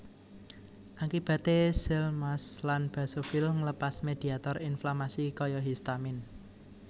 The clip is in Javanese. Akibate seal mast lan basofil nglepas mediator inflamasi kaya histamin